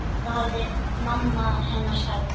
Það hafði mamma hennar sagt.